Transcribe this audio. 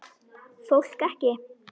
Fólk ekki.